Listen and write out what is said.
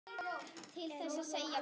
Til þess segjum við.